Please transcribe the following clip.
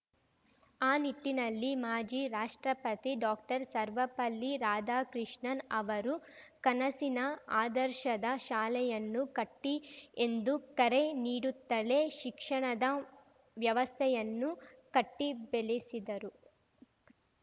ಆ ನಿಟ್ಟಿನಲ್ಲಿ ಮಾಜಿ ರಾಷ್ಟ್ರಪತಿ ಡಾಕ್ಟರ್ಸರ್ವಪಲ್ಲಿ ರಾಧಾಕೃಷ್ಣನ್‌ ಅವರು ಕನಸಿನ ಆದರ್ಶದ ಶಾಲೆಯನ್ನು ಕಟ್ಟಿಎಂದು ಕರೆ ನೀಡುತ್ತಲೇ ಶಿಕ್ಷಣದ ವ್ಯವಸ್ಥೆಯನ್ನು ಕಟ್ಟಿಬೆಳೆಸಿದರು